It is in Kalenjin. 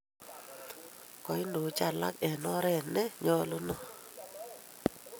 Koindochi alak eng' oret ne nyalunot